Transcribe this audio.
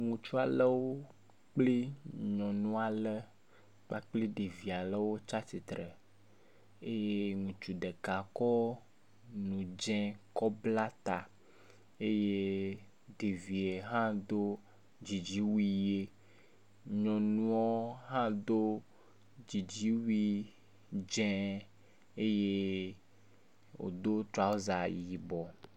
Ŋutsu aɖewo kple nyɔnu aɖe kpakple ɖevi aɖewo tsi atsitre eye ŋutsu ɖeka kɔ nudze kɔ bla ta eye ɖevia hã do dzidziwui ye nyɔnua hã do dzidziwui dze eye wodo trɔsa yibɔ.